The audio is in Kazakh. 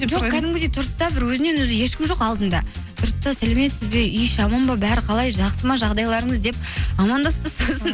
жоқ кәдімгідей тұрды да бір өзінен өзі ешкім жоқ алдында тұрды да сәлеметсіз бе үй іші аман ба бәрі қалай жақсы ма жағдайларыңыз деп амандасты сосын